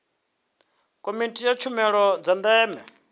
komiti ya tshumelo dza ndeme